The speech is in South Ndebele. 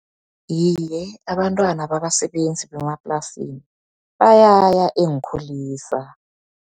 Iye, abantwana babasebenzi bemaplasini bayaya eenkulisa.